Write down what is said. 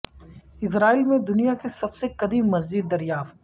اسرائیل میں دنیا کی سب سے قدیم مسجد دریافت